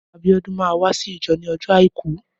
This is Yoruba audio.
Abiodun mà wàsí ijọ ni ọjọ áikù